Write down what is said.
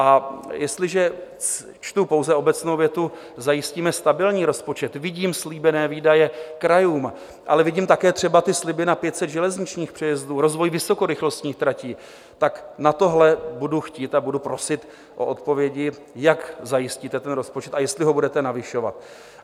A jestliže čtu pouze obecnou větu: "Zajistíme stabilní rozpočet", vidím slíbené výdaje krajům, ale vidím také třeba ty sliby na 500 železničních přejezdů, rozvoj vysokorychlostních tratí, tak na tohle budu chtít a budu prosit o odpovědi, jak zajistíte ten rozpočet a jestli ho budete navyšovat.